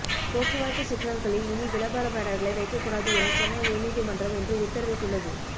போக்குவரத்து சிக்னல்களில் இனி விளம்பர பேனர்களை வைக்கக்கூடாது என சென்னை உயர்நீதிமன்றம் இன்று உத்தரவிட்டுள்ளது